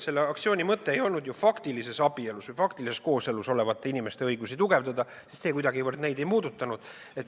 Selle aktsiooni mõte ei olnud ju faktilises abielus või faktilises kooselus olevate inimeste õigusi tugevdada, sest neid see kuidagi ei puudutanud.